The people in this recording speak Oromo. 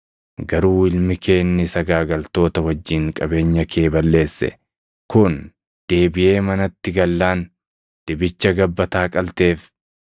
Garuu ilmi kee inni sagaagaltoota wajjin qabeenya kee balleesse kun deebiʼee manatti gallaan dibicha gabbataa qalteef!’